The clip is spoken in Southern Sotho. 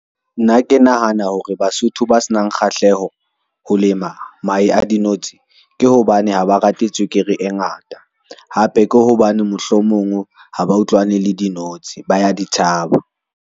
Nna ke nahana hore Basotho ba se nang kgahleho ho lema mahe a dinotshi ke hobane, ha ba rate tswekere e ngata hape ke hobane mohlomong ha ba utlwane le dinotshi ba ya ditshaba.